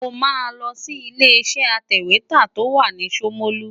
Mo máa lọ sí ilé-iṣẹ́ atẹ̀wétà tó wà ní Ṣomolu.